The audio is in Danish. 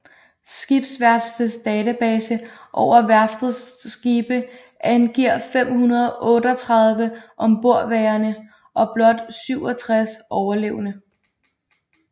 Skibsværftets database over værftets skibe angiver 538 ombordværende og blot 67 overlevende